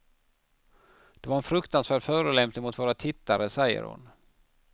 Det var en fruktansvärd förolämpning mot våra tittare, säger hon.